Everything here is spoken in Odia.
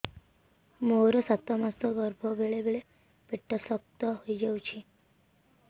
ମୋର ସାତ ମାସ ଗର୍ଭ ବେଳେ ବେଳେ ପେଟ ଶକ୍ତ ହେଇଯାଉଛି